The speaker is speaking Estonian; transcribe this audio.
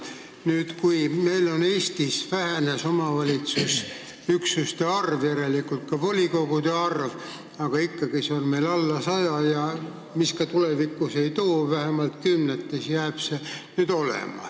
Nüüd vähenes meil Eestis omavalitsusüksuste ja järelikult ka volikogude arv, aga ikkagi on see meil ligi 100, ja mis ka tulevik ei too, jääb vähemalt kümneid volikogusid.